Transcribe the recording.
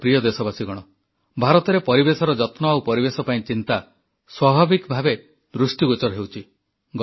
ମୋର ପ୍ରିୟ ଦେଶବାସୀଗଣ ଭାରତରେ ପରିବେଶର ଯତ୍ନ ଆଉ ପରିବେଶ ପାଇଁ ଚିନ୍ତା ସ୍ୱାଭାବିକ ଭାବେ ଦୃଷ୍ଟିଗୋଚର ହେଉଛି